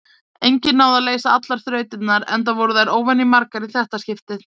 Enginn náði að leysa allar þrautirnar, enda voru þær óvenjumargar í þetta skiptið.